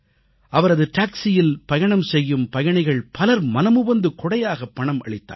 அவரது டாக்சியில் பயணம் செய்யும் பயணிகள் பலர் மனமுவந்து கொடையாக பணம் அளித்தார்கள்